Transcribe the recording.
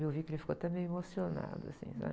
Eu vi que ele ficou até meio emocionado, assim, né?